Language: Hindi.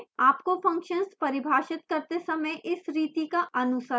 आपको functions परिभाषित करते समय इस रीति का अनुसरण करना चाहिए